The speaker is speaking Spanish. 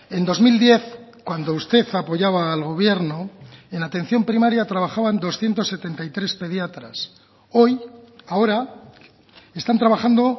en dos mil diez cuando usted apoyaba al gobierno en atención primaria trabajaban doscientos setenta y tres pediatras hoy ahora están trabajando